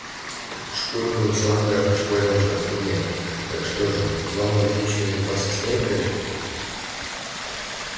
шкуры бумсланга в школьном шкафу нет так что же взламывать личные запасы снегга